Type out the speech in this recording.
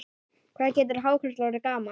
Hvað getur hákarl orðið gamall?